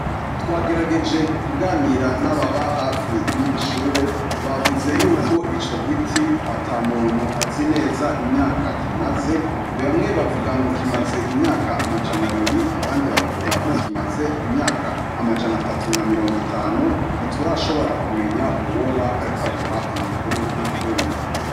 Twagerageje kuganira n'ababa hafi y'iri ishure bavuze yuko ico giti ata muntu azi neza imyaka kimaze. Bamwe bavuga ngo kimaze imyaka amajana abiri, abandi bakavuga ko kimaze imyaka amajana atatu na mirongo itanu. Ntiturashobora kumenya uwoba ariko aduha amakuru y'ukuri.